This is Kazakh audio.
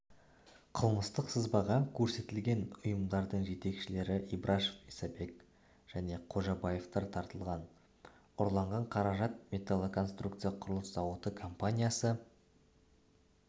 қылмыстық сызбаға көрсетілген ұйымдардың жетекшілері ибрашев исабек және қожабаевтар тартылған ұрланған қаражат металлконструкция құрылыс зауыты компаниясы